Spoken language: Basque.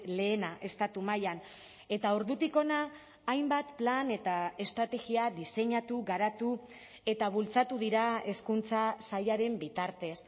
lehena estatu mailan eta ordutik hona hainbat plan eta estrategia diseinatu garatu eta bultzatu dira hezkuntza sailaren bitartez